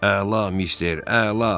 Əla mister, əla!